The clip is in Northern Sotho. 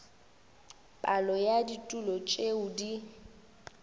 palo ya ditulo tšeo di